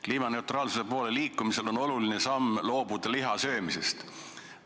Kliimaneutraalsuse poole liikumisel on oluline loobuda lihasöömisest.